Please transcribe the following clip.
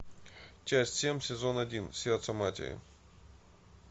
часть семь сезон один сердце матери